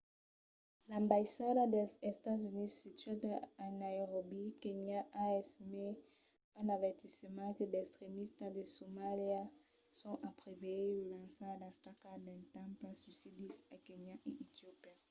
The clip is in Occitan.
l’ambaissada dels estats units situada a nairobi kenya a emés un avertiment que d'extremistas de somalia son a preveire de lançar d’atacas d’atemptats suïcidis a kenya e etiopia